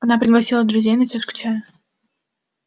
она пригласила друзей на чашку чая